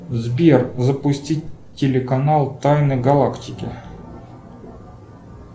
сбер запустить телеканал тайны галактики